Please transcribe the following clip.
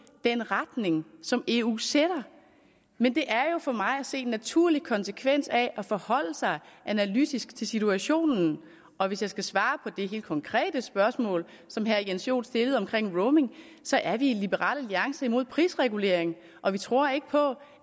den retning som eu sætter men det er for mig at se en naturlig konsekvens af at forholde sig analytisk til situationen og hvis jeg skal svare på det helt konkrete spørgsmål som herre jens joel stillede vedrørende roaming så er vi i liberal alliance imod prisregulering og vi tror ikke på